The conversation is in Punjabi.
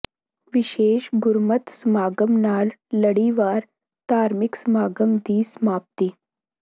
ਵਿਸ਼ੇਸ਼ ਗੁਰਮਤਿ ਸਮਾਗਮ ਨਾਲ ਲੜੀਵਾਰ ਧਾਰਮਿਕ ਸਮਾਗਮ ਦੀ ਸਮਾਪਤੀ